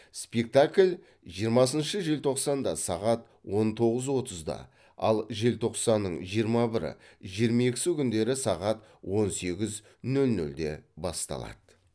спектакль жиырмасыншы желтоқсанда сағат он тоғыз отызда ал желтоқсанның жиырма бірі жиырма екісі күндері сағат он сегіз нөл нөлде басталады